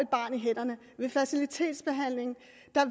ved fertilitetsbehandling